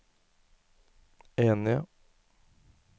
enige